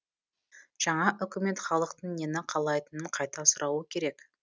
жаңа үкімет халықтың нені қалайтынын қайта сұрауы керек